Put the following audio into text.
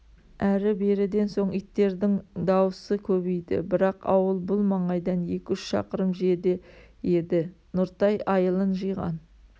әрі-беріден соң иттердін даусы көбейді бірақ ауыл бұл маңайдан екі-үш шақырым жерде еді нұртай айылын жиған